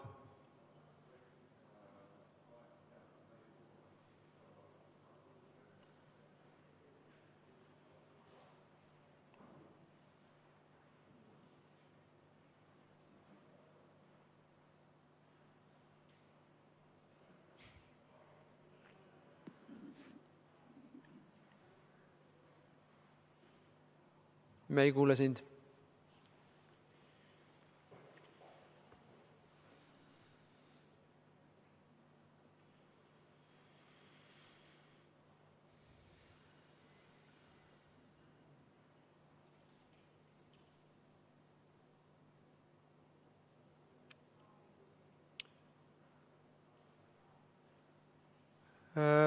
Me ei kuule sind.